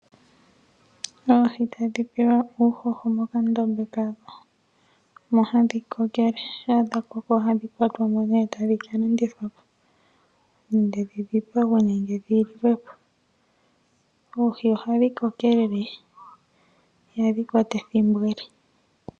Oohi tadhi pewa uuhoho mokandombe kadho, mu hadhi kokele. Shampa dhakoko ohadhi kwatwa mo nee tadhi kalandithwa po nenge dhidhipagwe nenge dhiliwe po. Oohi ohadhi kokelele ihadhi kwata ethimbo ele.